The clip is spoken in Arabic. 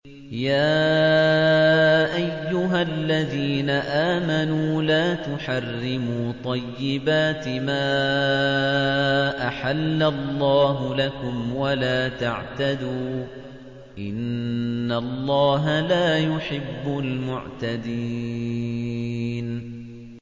يَا أَيُّهَا الَّذِينَ آمَنُوا لَا تُحَرِّمُوا طَيِّبَاتِ مَا أَحَلَّ اللَّهُ لَكُمْ وَلَا تَعْتَدُوا ۚ إِنَّ اللَّهَ لَا يُحِبُّ الْمُعْتَدِينَ